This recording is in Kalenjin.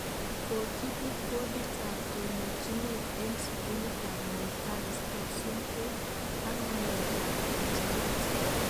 Kogibut boditab tononjinet eng sugulitab Moi Girls kosupkei ak ng'aleek ab kanyeeret